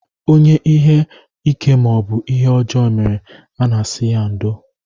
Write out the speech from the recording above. Onye ihe ike maọbụ ihe ọjọọ mere, a na-asị ya ndo